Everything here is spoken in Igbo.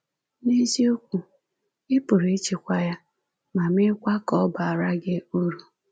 N’eziokwu, ị pụrụ ịchịkwa ya, ma mekwaa ka ọ baara gị uru.